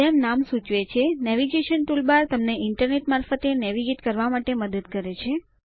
જેમ નામ સૂચવે છે નેવિગેશન ટૂલબાર તમને ઇન્ટરનેટ મારફતે નેવિગેટ કરવા માટે મદદ કરે છે